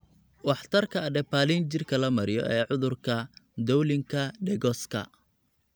Waxtarka adapalene jirka la mariyo ee cudurka Dowlingka Degoska.